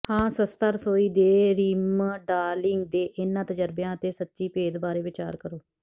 ਹਾਂ ਸਸਤਾ ਰਸੋਈ ਦੇ ਰੀਮਡਾਲਿੰਗ ਦੇ ਇਹਨਾਂ ਤਜਰਬਿਆਂ ਅਤੇ ਸੱਚੀ ਭੇਦ ਬਾਰੇ ਵਿਚਾਰ ਕਰੋ